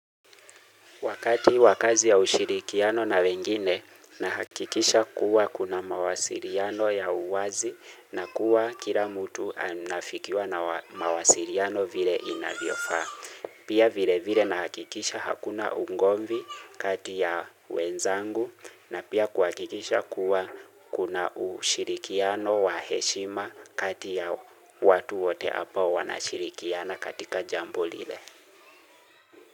Wakati wa kazi ya ushirikiano na wengine na hakikisha kuwa kuna mawasiliano ya uwazi na kuwa kila mtu anafikiwa na mawasiliano vile inavyofaa. Pia vile vile na hakikisha hakuna ugomvi kati ya wenzangu na pia kuhakikisha kuwa kuna ushirikiano wa heshima kati ya watu wote hapa wanashirikiana katika jambo lile.